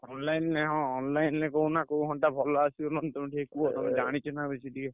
Online ରେ ହଁ online ରେ କହୁନା କୋଉ ଘଣ୍ଟା ଭଲ ଆସିବ ମାନେ ତମେ ଟିକେ କୁହ ବେଶୀ ଟିକେ।